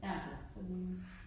Ja, så det